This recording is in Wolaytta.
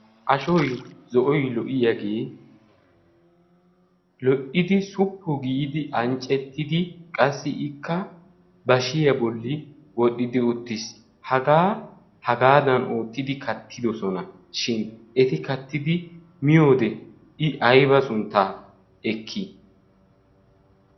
ashoi zo'oy lo''iyaagee lo''idi suppu giidi anccettidi qassi ikka bashiya bolli wodhdhidi uttiis hagaa hagaadan oottidi kattidosona shin eti kattidi miyoode i ayba sunttaa ekkii